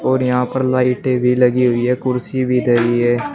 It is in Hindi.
और यहां पर लाइटें भी लगी हुई है और कुर्सी भी धरी है।